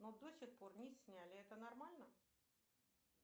но до сих пор не сняли это нормально